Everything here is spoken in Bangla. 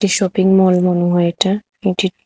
এ শপিংমল মনে হয় এটা এটি।